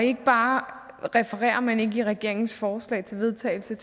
ikke bare refererer man i regeringens forslag til vedtagelse